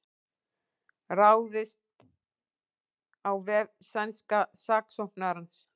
Ráðist á vef sænska saksóknarans